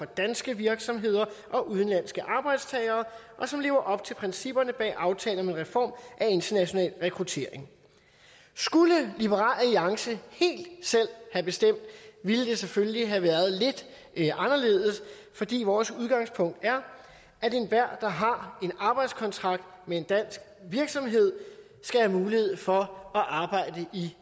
danske virksomheder og udenlandske arbejdstagere og som lever op til principperne bag aftalen om en reform af international rekruttering skulle liberal alliance helt selv have bestemt ville det selvfølgelig have været lidt anderledes fordi vores udgangspunkt er at enhver der har en arbejdskontrakt med en dansk virksomhed skal have mulighed for at arbejde i